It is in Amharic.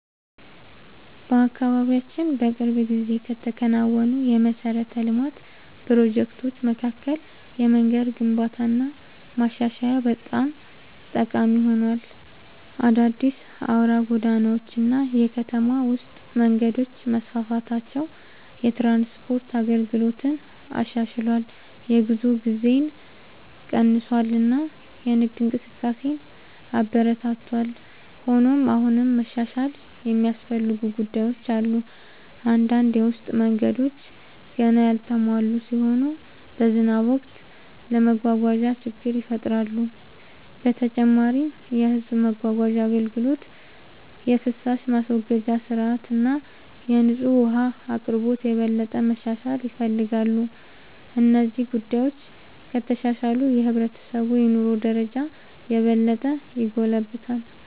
በአካባቢያችን በቅርብ ጊዜ ከተከናወኑ የመሠረተ ልማት ፕሮጀክቶች መካከል የመንገድ ግንባታና ማሻሻያ በጣም ጠቃሚ ሆኗል። አዳዲስ አውራ ጎዳናዎች እና የከተማ ውስጥ መንገዶች መስፋፋታቸው የትራንስፖርት አገልግሎትን አሻሽሏል፣ የጉዞ ጊዜን ቀንሷል እና የንግድ እንቅስቃሴን አበረታቷል። ሆኖም አሁንም መሻሻል የሚያስፈልጉ ጉዳዮች አሉ። አንዳንድ የውስጥ መንገዶች ገና ያልተሟሉ ሲሆኑ በዝናብ ወቅት ለመጓጓዝ ችግር ይፈጥራሉ። በተጨማሪም የሕዝብ ማጓጓዣ አገልግሎት፣ የፍሳሽ ማስወገጃ ሥርዓት እና የንጹህ ውኃ አቅርቦት የበለጠ መሻሻል ይፈልጋሉ። እነዚህ ጉዳዮች ከተሻሻሉ የሕብረተሰቡ የኑሮ ደረጃ የበለጠ ይጎለብታል።